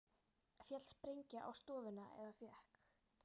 Féll sprengja á stofuna eða fékk